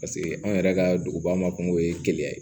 Paseke anw yɛrɛ ka duguba ma kungo ye gɛlɛya ye